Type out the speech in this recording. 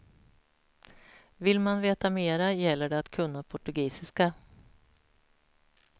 Vill man veta mer gäller det att kunna portugisiska.